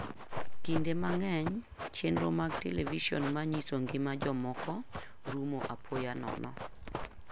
Kinde mang'eny, chenro mag televison manyiso ngima jomoko rumo apoya nono.